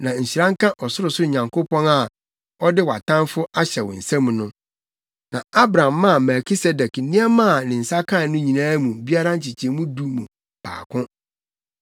Na nhyira nka Ɔsorosoro Nyankopɔn a ɔde wʼatamfo ahyɛ wo nsam no.” Na Abram maa Melkisedek nneɛma a ne nsa kae no nyinaa mu biara nkyekyɛmu du mu baako.